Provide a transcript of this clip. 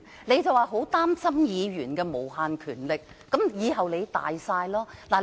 你說很擔心議員有無限權力，但日後你才是擁有最大權力的人。